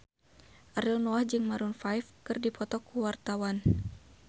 Ariel Noah jeung Maroon 5 keur dipoto ku wartawan